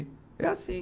É assim.